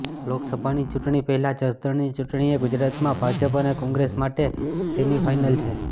લોકસભાની ચૂંટણી પહેલાં જસદણની ચૂંટણી એ ગુજરાતમાં ભાજપ અને કોંગ્રેસ માટે સેમિફાયનલ છે